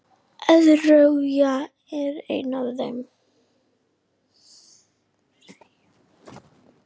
ÓÞREYJA er eitt af þeim.